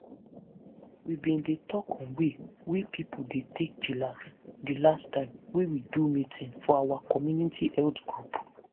true true to bin learn more about tins to take dey chillax help me change di tins wey i bin dey do everyday.